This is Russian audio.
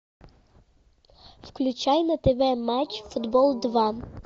включай на тв матч футбол два